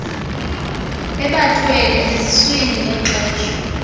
bebathwele eziswini ngexesha